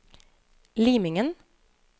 Limingen